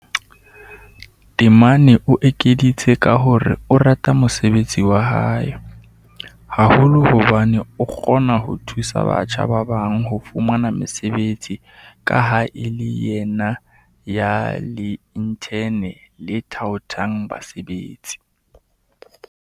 Temane o ekeditse ka hore o rata mosebetsi wa hae, haholo hobane o kgona ho thusa batjha ba bang ho fumana mesebetsi ka ha e le yena ya le-inthene le thaothang basebetsi.